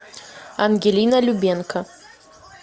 ангелина любенко